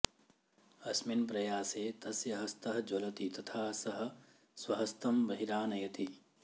अस्मिन् प्रयासे तस्य हस्तः ज्वलति तथा सः स्वहस्तं बहिरानयति